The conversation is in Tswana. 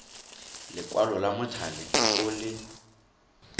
lekwalo la mothale o le